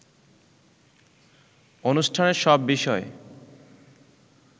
অনুষ্ঠানে সব বিষয়ে